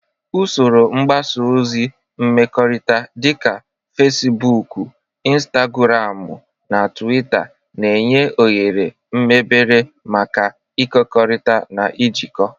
Usoro mgbasa ozi mmekọrịta dị ka Fecibuukụ, Intagụramụ na Tuwita na-enye oghere mebere maka ịkekọrịta na ijikọ.